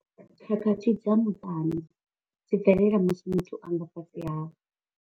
Khakhathi dza muṱani dzi bvelela musi muthu a nga fhasi ha.